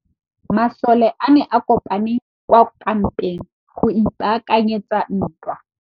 Masole a ne a kopane kwa kampeng go ipaakanyetsa ntwa.